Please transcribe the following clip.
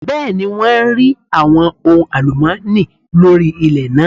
Bẹ́ẹ̀ni wọ́n rí àwọn ohun àlùmọ́nì lórí ilẹ̀ náà.